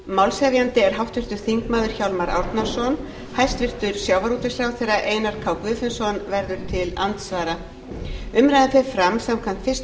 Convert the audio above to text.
málshefjandi er háttvirtur þingmaður hjálmar árnason hæstvirtur sjávarútvegsráðherra einar k guðfinnsson verður til andsvara umræðan fer fram samkvæmt fyrstu